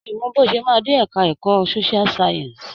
Mi ò mọ bí o ṣe máa dé ẹ̀ka ẹ̀kọ́ Social science.